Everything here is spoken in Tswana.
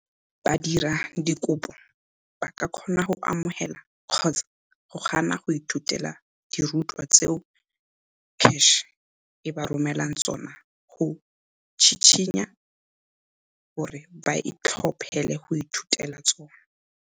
Badiradikopo ba ka kgona go amogela kgotsa go gana go ithutela dirutwa tseo CACH e ba romelang tsona go tshitshinya gore ba itlhophele go ithutela tsona.